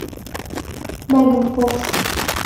меган фокс